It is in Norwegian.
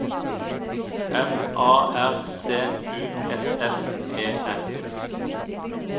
M A R C U S S E N